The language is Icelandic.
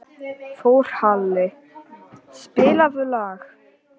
Þórhalli, spilaðu lag.